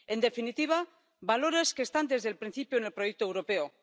En definitiva, valores que están desde el principio en el proyecto europeo.